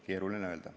Keeruline öelda.